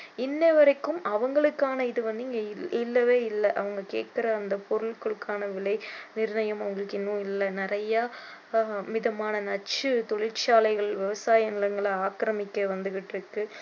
இன்னைவரைக்கும் அவங்களுக்கான இது வந்து இங்க இல்லவே இல்ல அவங்க கேட்கிற அந்த பொருட்களுக்கான விலை நிர்ணயம் அவங்களுக்கு இன்னும் இல்ல நிறைய விதமான நச்சு தொழிற்சாலைகள் விவசாய நிலங்களை ஆக்கிரமிக்க வந்துகிட்டிருக்கு